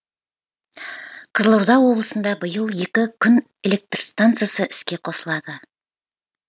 қызылорда облысында биыл екі күн электр станциясы іске қосылады